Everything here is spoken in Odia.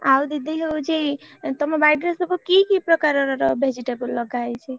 ଆଉ ଦିଦି ହଉଛି ତମ ବାଡିରେ ସବୁ କି କି ପ୍ରକାର ର vegetable ଲଗାହେଇଛି?